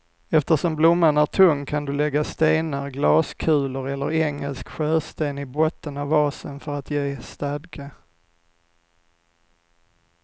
Eftersom blomman är tung kan du lägga stenar, glaskulor eller engelsk sjösten i botten av vasen för att ge stadga.